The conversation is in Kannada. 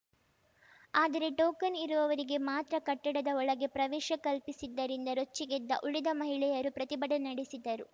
ಆದರೆ ಟೋಕನ್‌ ಇರುವವರಿಗೆ ಮಾತ್ರ ಕಟ್ಟಡದ ಒಳಗೆ ಪ್ರವೇಶ ಕಲ್ಪಿಸಿದ್ದರಿಂದ ರೊಚ್ಚಿಗೆದ್ದ ಉಳಿದ ಮಹಿಳೆಯರು ಪ್ರತಿಭಟನೆ ನಡೆಸಿದರು